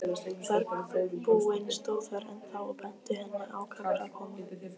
Bergbúinn stóð þar ennþá og benti henni ákafur að koma.